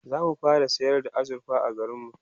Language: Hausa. zamu fara sayar da azurfa a garinmu